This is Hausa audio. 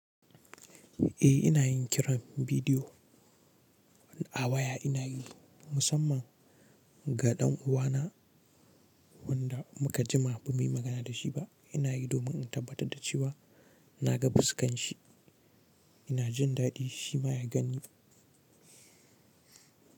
Eh ina yin kiran bidiyo a waya, ina yi musamman Ga ɗan uwana wanda muka jima bamu yi magana da shi ba. Ina yi domin in tabbatar da cewa na ga fuskan shi, ina jin daɗi shi ma ya gan ni.